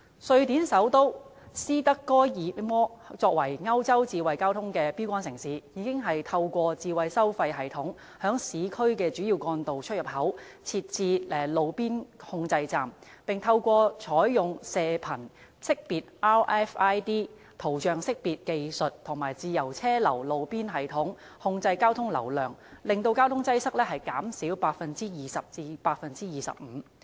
瑞典首都斯德哥爾摩作為歐洲智慧交通的標竿城市，已經透過智慧收費系統，在市區的主要幹道出入口設置路邊控制站，並透過採用射頻識別、圖像識別技術及自由車流路邊系統控制交通流量，使交通擠塞減少 20% 至 25%。